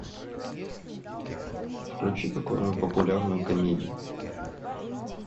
включи какую нибудь популярную комедию